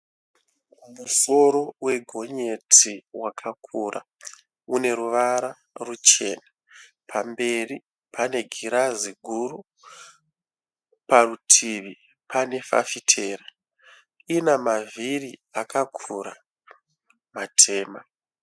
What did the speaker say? Musoro wegonyeti wakakura une ruvara ruchena, pamberi pane ghirazi guru, parutivi pane fafitera, rina mavhiri akakura matema.